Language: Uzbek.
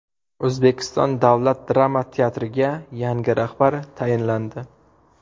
O‘zbekiston davlat drama teatriga yangi rahbar tayinlandi.